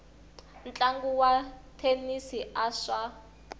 ntlangu wa thenisi a swa